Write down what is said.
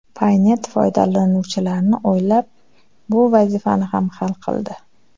Paynet foydalanuvchilarni o‘ylab bu vazifani ham hal qildi.